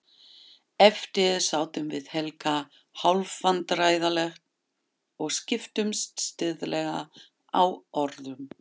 Eftir sátum við Helga hálfvandræðaleg og skiptumst stirðlega á orðum.